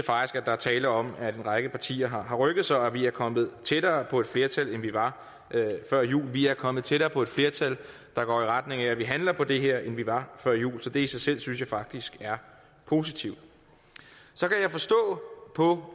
er tale om at en række partier har rykket sig og at vi er kommet tættere på et flertal end vi var før jul vi er kommet tættere på et flertal der går i retning af at vi handler på det her end vi var før jul det i sig selv synes jeg faktisk er positivt så kan jeg forstå på